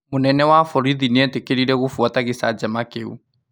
Munene wa borithi nĩetĩkĩrire kũbuata gĩcanjama kĩu